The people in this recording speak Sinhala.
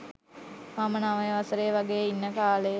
මම නවය වසරෙ වගේ ඉන්න කාලෙ.